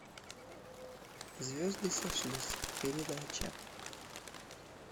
звезды сошлись передача